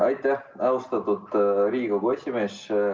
Aitäh, austatud Riigikogu esimees!